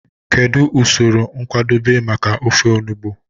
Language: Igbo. Kedu usoro nkwadebe maka ofe enugbe?